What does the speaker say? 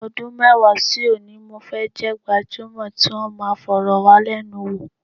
Ọdún mẹ́wàá sí òní, mo fẹ́ jẹ́ gbajúmọ̀ tí wọn máa fọ̀rọ̀wálẹ́nuwò.